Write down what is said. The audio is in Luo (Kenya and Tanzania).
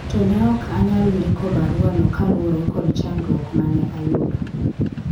to ne ok anyalo ndiko barua no kaluwore kod chandruok mane ayudo